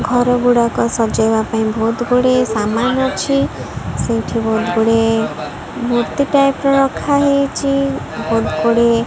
ଘର ଗୁଡାକ ସଜେଇବା ପାଇଁ ବହୁତ୍ ଗୁଡ଼ିଏ ସାମାନ୍ ଅଛି ସେଠି ବହୁତ୍ ଗୁଡ଼ିଏ ମୂର୍ତ୍ତୀ ଟାଇପ୍ ର ରଖା ହେଇଛି ବହୁତ୍ ଗୁଡ଼ିଏ --